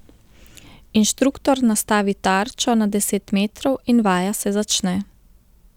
Inštruktor nastavi tarčo na deset metrov in vaja se začne.